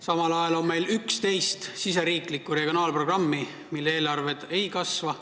Samal ajal on meil 11 riigisisest regionaalprogrammi, mille eelarved ei kasva.